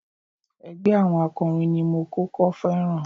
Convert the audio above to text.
Ẹgbẹ́ àwọn akọrin ni mo kọ́kọ́ féràn.